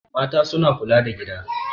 Mata suna kula da gida.